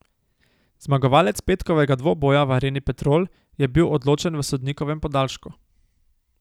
Zmagovalec petkovega dvoboja v Areni Petrol je bil odločen v sodnikovem podaljšku.